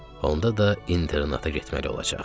Onda da internata getməli olacaq.